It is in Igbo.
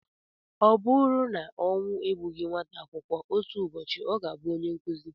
Ọ buru na ọnwụ egbughị nwata akwụkwọ, otu ụbọchị ọ ga-abụ onye nkụzi.